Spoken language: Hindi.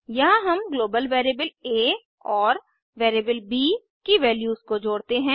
यहाँ हम ग्लोबल वेरिएबल आ और वेरिएबल ब की वैल्यूज को जोड़ते हैं